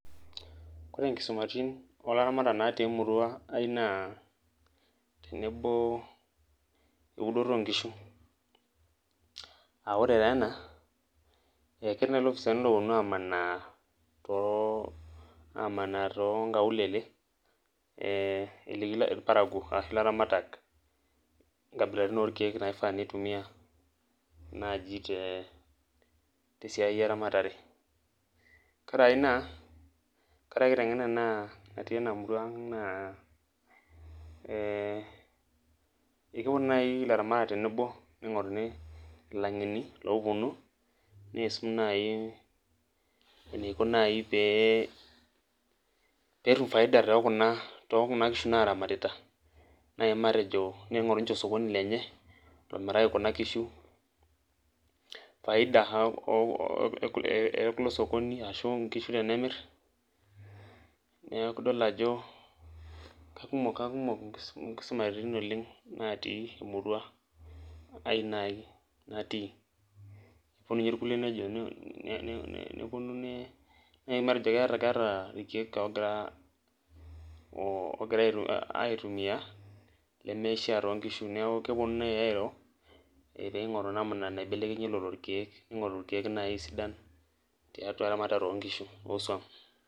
Kore nkisumaritin oolaramatak natii emirua ai naa tenebo eudoto oo nkishu.aa ore taa ena, ketii nai lopisaani loopuonu aamanaa too aamanaa too nkaulele, eliki ilparakuo ashu laramatak, inkabilaritin, orkeek naifaa nitumia naaji tee tee siai eramatare, nkaraki naa ore enakiteng'ena natii enamurua ang ' naa ee ketumo naai ilaramatak tenebo ning'oruni ilang'eni loopuonu, neisum naai eniko naai pee pee etum faida too Kuna too Kuna kishu naaramatita. naai matejo ningoru ninche osokoni lenye, omiraki Kuna kishu faida e kulo sokoni ashu nkishu tenemir, neeku idol ajo kakumok inkisumaritin oleng natii emirua ai naai natii. epuonu ninye irkulie nejo nepuo ne matejo nai keeta ireek oogira aitumia lemeishaa too nkishu neeku kepuonu nai airo pee eing'oru namuna naibelekenyie lelo keeku. ningoru orkeek naa sidan te ramatare oo nkishu oo suam.